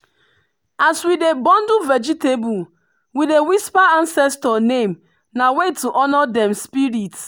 as we dey bundle vegetable we dey whisper ancestor name na way to honor dem spirit.